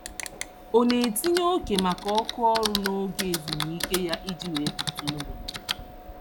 Ọ na-etinye oke maka oku ọrụ n'oge ezumike ya iji wee kute ume.